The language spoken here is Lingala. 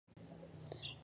Ndaku ya pembe !